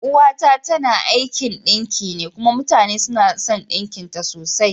Uwa ta tana aikin ɗinki ne kuma mutane suna son ɗinkin ta sosai.